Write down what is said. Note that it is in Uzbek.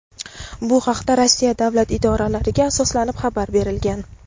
Bu haqda Rossiya davlat idoralariga asoslanib xabar berilgan.